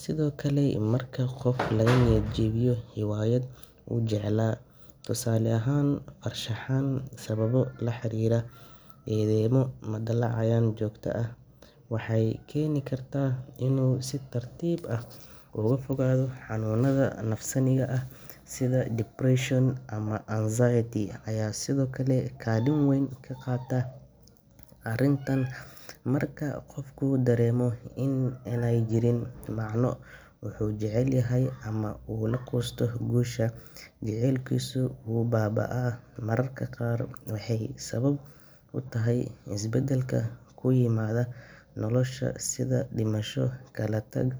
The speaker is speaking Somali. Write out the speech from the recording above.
Sidoo kale, marka qof laga niyad jabiyo hiwaayad uu jeclaa, tusaale ahaan farshaxan, sababo la xiriira eedeymo ama dhaleecayn joogto ah, waxay keeni kartaa inuu si tartiib ah uga fogaado. Xanuunada nafsaaniga ah sida depression ama anxiety ayaa sidoo kale kaalin weyn ka qaata arrintan. Marka qofku dareemo in aanay jirin macno uu wax jecel yahay, ama uu ka quusto guusha, jaceylkiisu wuu baaba'aa. Mararka qaar waxay sabab u tahay isbeddel ku yimaada nolosha, sida dhimasho, kala-tag.